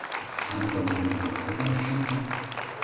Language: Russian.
а сам подумал какой там к чёрту